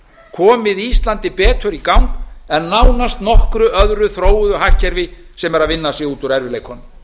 komið íslandi betur í gang en nánast nokkru öðru þróuðu hagkerfi sem er að vinna sig út úr erfiðleikunum